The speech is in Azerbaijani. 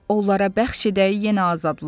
Onlara bəxş edəy yenə azadlıq.